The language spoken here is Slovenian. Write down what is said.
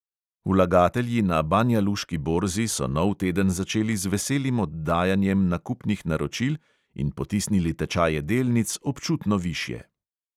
Vlagatelji na banjaluški borzi so nov teden začeli z veselim oddajanjem nakupnih naročil in potisnili tečaje delnic občutno višje.